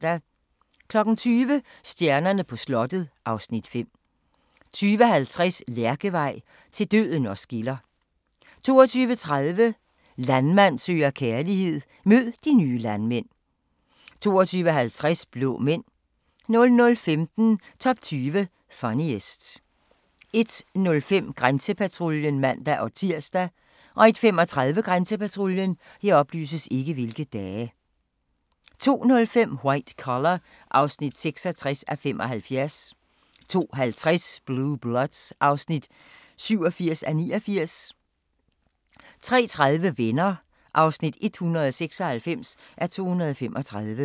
20:00: Stjernerne på slottet (Afs. 5) 20:50: Lærkevej – til døden os skiller 22:30: Landmand søger kærlighed – mød de nye landmænd 22:50: Blå Mænd 00:15: Top 20 Funniest 01:05: Grænsepatruljen (man-tir) 01:35: Grænsepatruljen 02:05: White Collar (66:75) 02:50: Blue Bloods (87:89) 03:30: Venner (196:235)